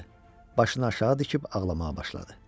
Başını aşağı dikib ağlamağa başladı.